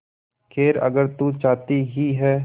खैर अगर तू चाहती ही है